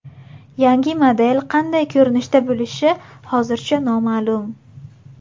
Yangi model qanday ko‘rinishda bo‘lishi hozircha noma’lum.